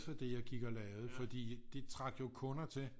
For det jeg gik og lavede for det trak jo kunder til